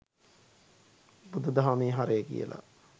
බුදුධහමෙ හරය කියලා